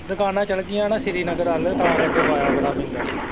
ਦੁਕਾਨਾਂ ਚਲੇ ਗਈਆਂ ਨਾ ਸ੍ਰੀ ਨਗਰ ਵੱਲ ਤਾਂ ਕਰਕੇ ਬਾਇਆ ਬੜਾ ਪੈਂਦਾ